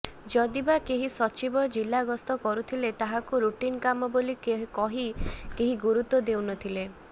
ଯଦିବା କେହି ସଚିବ ଜିଲା ଗସ୍ତ କରୁଥିଲେ ତାହାକୁ ରୁଟିନ କାମ ବୋଲି କହି କେହି ଗୁରୁତ୍ବ ଦେଉନଥିଲେ